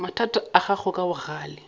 mathata a gago ka bogale